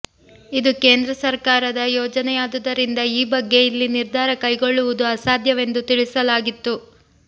ಇದು ಕೇಂದ್ರ ಸರಕಾರದ ಯೋಜನೆಯಾದುದರಿಂದ ಈ ಬಗ್ಗೆ ಇಲ್ಲಿ ನಿರ್ಧಾರ ಕೈಗೊಳ್ಳುವುದು ಅಸಾಧ್ಯವೆಂದು ತಿಳಿಸಲಾಗಿತ್ತು